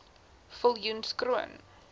viljoenskroon